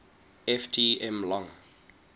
ft m long